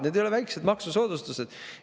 Need ei ole väikesed maksusoodustused.